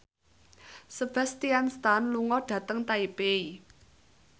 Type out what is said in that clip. Sebastian Stan lunga dhateng Taipei